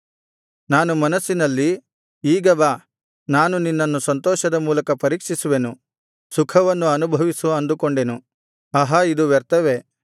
ನಾನು ಮನಸ್ಸಿನಲ್ಲಿ ಈಗ ಬಾ ನಾನು ನಿನ್ನನ್ನು ಸಂತೋಷದ ಮೂಲಕ ಪರೀಕ್ಷಿಸುವೆನು ಸುಖವನ್ನು ಅನುಭವಿಸು ಅಂದುಕೊಂಡೆನು ಆಹಾ ಇದು ವ್ಯರ್ಥವೇ